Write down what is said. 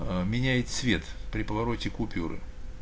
аа меняет цвет при повороте купюры